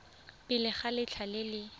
pele ga letlha le le